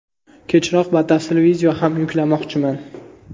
Kechroq batafsil video ham yuklamoqchiman.